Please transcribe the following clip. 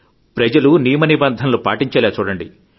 ప్రజలు నియమనిబంధనలు పాటించేలా చూడండి